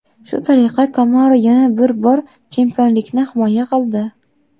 Shu tariqa Kamaru yana bir bor chempionlikni himoya qildi.